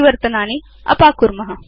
परिवर्तनानि अपाकुर्म